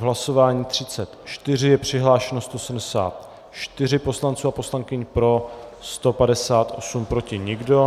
V hlasování 34 je přihlášeno 174 poslanců a poslankyň, pro 158, proti nikdo.